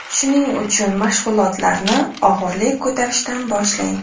Shuning uchun mashg‘ulotlarni og‘irlik ko‘tarishdan boshlang.